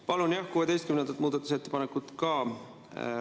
Palun, jah, 16. muudatusettepanekut ka …